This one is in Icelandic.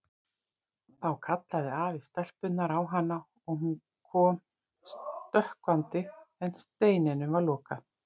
Þá kallaði afi stelpunnar á hana og hún kom stökkvandi en steininum var lokað.